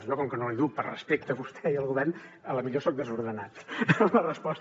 jo com que no l’he dut per respecte a vostè i al govern a la millor soc desordenat en la resposta